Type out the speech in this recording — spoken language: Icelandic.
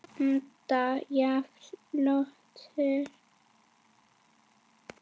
Ennþá jafn ljótur.